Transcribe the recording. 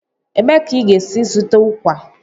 Ebee ka ị ga-esi zụta ụkwa?